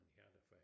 Hjertefejl